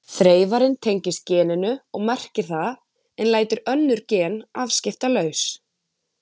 Þreifarinn tengist geninu og merkir það en lætur önnur gen afskiptalaus.